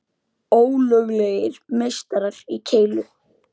Ólöglegir meistarar í keilu